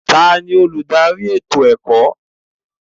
Taani olùdarí ètò ẹ̀kọ́?